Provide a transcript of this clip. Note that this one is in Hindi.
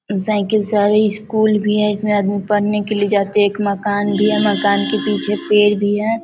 साइकिल से स्कूल भी है इसमें आदमी पढ़ने के लिए जाते है एक मकान भी है मकान के पीछे एक पेड़ भी है|